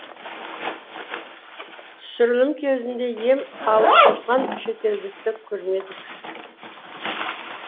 түсірілім кезінде ем алып жатқан шетелдікті көрмедік